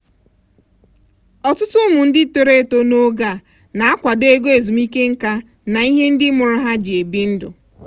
ọtụtụ ụmụ ndị toro eto n'oge a na-akwado ego ezumike nká na ihe ndị mụrụ ha ji ebi ndụ.